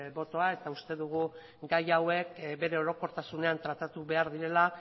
botoa eta uste dugu gai hauek bere orokortasunean tratatu behar direla